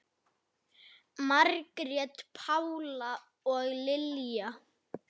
Margrét Pála og Lilja.